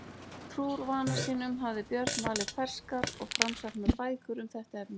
Trúr vana sínum hafði Björn valið ferskar og framsæknar bækur um þetta efni.